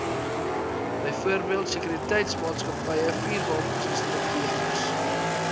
byvoorbeeld sekuriteitsmaatskappye vuurwapeninstrukteurs